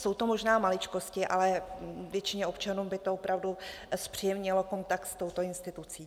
Jsou to možná maličkosti, ale většině občanů by to opravdu zpříjemnilo kontakt s touto institucí.